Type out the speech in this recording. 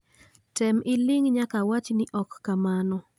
Tem iling nyaka awach ni ok kamano